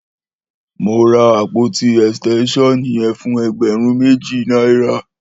Mó rà ápótí ẹstẹnṣọn yẹn fún ẹgbẹrùn méji nàirà